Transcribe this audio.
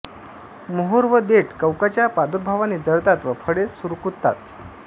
मोहोर व देठ कवकाच्या प्रादुर्भावाने जळतात व फळे सुरकुततात